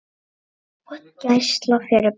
Gæsla fyrir börn.